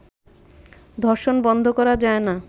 ধর্ষণ বন্ধ করা যায় না